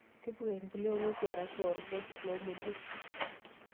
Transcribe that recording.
Tipika empulia oong'ueso arashu orgas loomodiok.